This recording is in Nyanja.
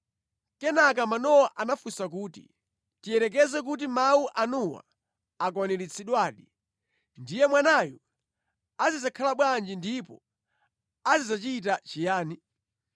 Kenaka Manowa anafunsa kuti, “Tiyerekeze kuti mawu anuwa akwaniritsidwadi, ndiye mwanayu azidzakhala bwanji ndipo azidzachita chiyani?”